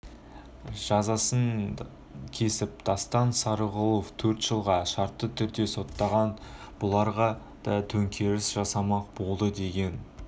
жазасын кесіп дастан сарыгуловты төрт жылға шартты түрде соттаған бұларға да төңкеріс жасамақ болды деген